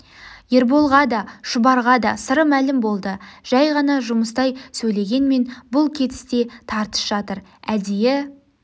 ерболға да шұбарға да сыры мәлім болды жай ғана жұмыстай сөйлегенмен бұл кетісте тартыс жатыр әдейі